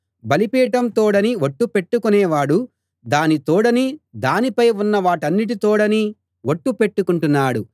బలిపీఠం తోడని ఒట్టు పెట్టుకొనేవాడు దాని తోడనీ దానిపై ఉన్న వాటన్నిటి తోడనీ ఒట్టు పెట్టుకొంటున్నాడు